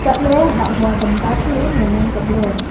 chatley hah hua tamta chu ngan ang kapley.